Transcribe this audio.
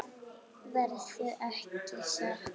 Verður ekki sagt.